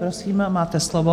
Prosím, máte slovo.